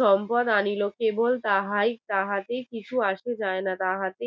সম্পদ আনিল কেবল তাহাই তাহাতে কিছু আসে যায় না তাহাতে